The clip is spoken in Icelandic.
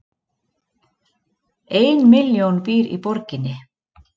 Ein milljón býr í borginni